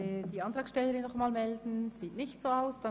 Die Antragstellerin möchte sich nicht mehr melden.